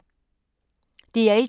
DR1